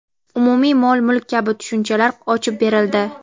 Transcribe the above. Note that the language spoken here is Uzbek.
umumiy mol-mulk kabi tushunchalar ochib berildi.